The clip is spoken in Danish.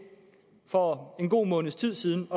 for en god måneds tid siden